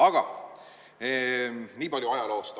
Aga nii palju ajaloost.